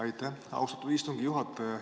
Aitäh, austatud istungi juhataja!